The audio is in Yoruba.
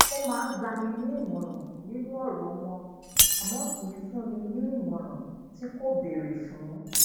ó maa ń gba a ni imoran ninu oro won àmó kì í fún ní ìmòràn tí kò béèrè fun